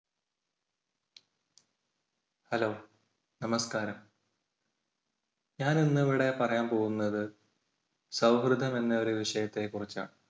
hello നമസ്കാരം, ഞാൻ ഇന്ന് ഇവിടെ പറയാൻ പോകുന്നത് സൗഹൃദം എന്ന ഒരു വിഷയത്തെ കുറിച്ചാണ്.